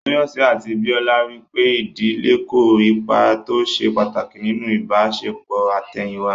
Tóyọ̀sí àti Bíọ́lá rí pé ìdílé kó ipa tó ṣe pàtàkì nínú ìbáṣepọ̀ àtẹ̀yìn wá